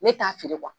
Ne t'a feere